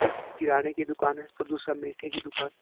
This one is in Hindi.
एक किराने की दुकान है तो दूसरा मीठे की दुकान।